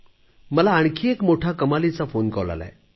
मला आणखी एक फोनकॉल आला आहे